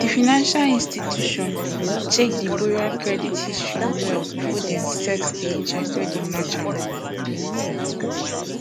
di financial institution check di borrower credit history well before dem set di interest wey match am